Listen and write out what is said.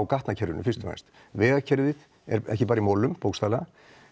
gatnakerfinu fyrst og fremst vegakerfið er ekki bara í molum bókstaflega